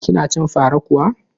Kina cin fara kuwa?